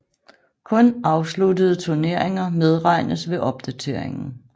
Kun afsluttede turneringer medregnes ved opdateringen